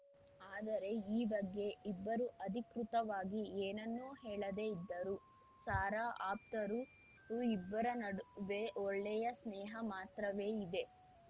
ಆದರೆ ಈ ಬಗ್ಗೆ ಇಬ್ಬರೂ ಅಧಿಕೃತವಾಗಿ ಏನನ್ನೂ ಹೇಳದೇ ಇದ್ದರೂ ಸಾರಾ ಆಪ್ತರು ಇಬ್ಬರ ನಡುವೆ ಒಳ್ಳೆಯ ಸ್ನೇಹ ಮಾತ್ರವೇ ಇದೆ